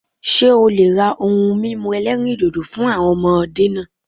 Ṣé o le ra ohun mímu ẹlẹ́rìndòdò fún àwọn ọmọdé náà